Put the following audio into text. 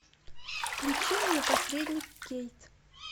включи мне посредник кейт